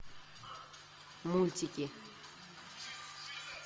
мультики